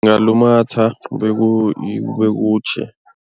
Ngalumatha kube kutjhe.